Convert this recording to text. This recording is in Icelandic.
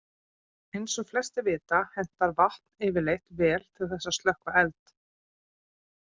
Eins og flestir vita hentar vatn yfirleitt vel til þess að slökkva eld.